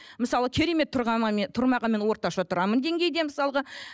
мысалы керемет мен тұрмағанымен орташа тұрамын деңгейде мысалға